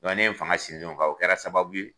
Dɔn ne ye n fanga sinsin o kan o kɛra sababu ye